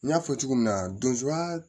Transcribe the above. N y'a fɔ cogo min na donsoba